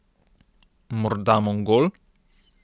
Morda Mongol?